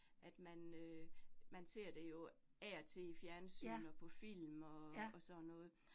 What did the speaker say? At man øh, man ser det jo af og til i fjernsyn og på film og og sådan noget